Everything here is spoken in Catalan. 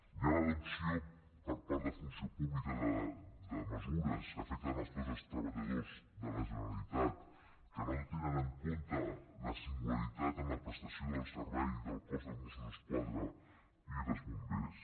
hi ha l’adopció per part de funció pública de mesures que afecten els cossos de treballadors de la generalitat que no tenen en compte la singularitat en la prestació del servei del cos de mossos d’esquadra i dels bombers